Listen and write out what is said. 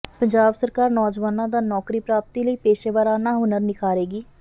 ਪੰਜਾਬ ਸਰਕਾਰ ਨੌਜਵਾਨਾਂ ਦਾ ਨੌਕਰੀ ਪ੍ਰਾਪਤੀ ਲਈ ਪੇਸ਼ੇਵਾਰਾਨਾ ਹੁਨਰ ਨਿਖਾਰੇਗੀ